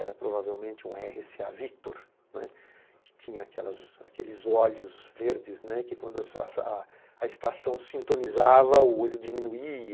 Era provavelmente um erre cê á Victor, né, que tinha aquelas aqueles olhos verdes, né, que, quando a estação sintonizava, o olho diminuía.